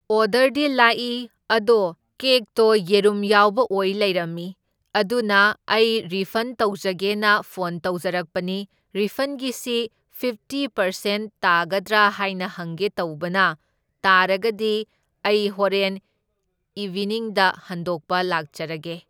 ꯑꯣꯗꯔꯗꯤ ꯂꯥꯛꯢ, ꯑꯗꯣ ꯀꯦꯛꯇꯣ ꯌꯦꯔꯨꯝ ꯌꯥꯎꯕ ꯑꯣꯏ ꯂꯩꯔꯝꯃꯤ, ꯑꯗꯨꯅ ꯑꯩ ꯔꯤꯐꯟ ꯇꯧꯖꯒꯦꯅ ꯐꯣꯟ ꯇꯧꯖꯔꯛꯄꯅꯤ, ꯔꯤꯐꯟꯒꯤꯁꯤ ꯐꯤꯞꯇꯤ ꯄꯔꯁꯦꯟ ꯇꯥꯒꯗ꯭ꯔꯥ ꯍꯥꯏꯅ ꯍꯪꯒꯦ ꯇꯧꯕꯅ, ꯇꯥꯔꯒꯗꯤ ꯑꯩ ꯍꯧꯔꯦꯟ ꯏꯚꯤꯅꯤꯡꯗ ꯍꯟꯗꯣꯛꯄ ꯂꯥꯛꯆꯔꯒꯦ꯫